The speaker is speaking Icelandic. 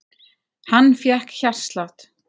Hann fékk hjartslátt.